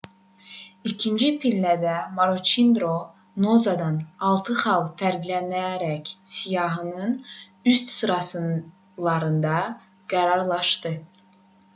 i̇kinci pillədə maroçidro noozadan altı xal fərqlənərək siyahının üst sıralarında qərarlaşdı